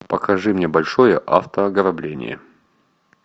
покажи мне большое автоограбление